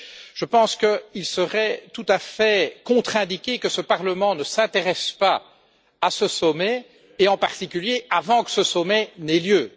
Je pense qu'il serait tout à fait contre indiqué que ce Parlement ne s'intéresse pas à ce sommet et, en particulier, avant que ce sommet n'ait lieu.